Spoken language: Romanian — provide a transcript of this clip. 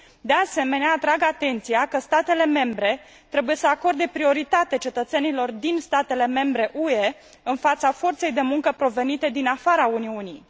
De asemenea, atrag atenția că statele membre trebuie să acorde prioritate cetățenilor din statele membre UE, în fața forței de muncă provenite din afara Uniunii.